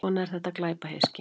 Svona er þetta glæpahyski.